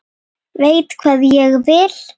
Veit hvað ég vil.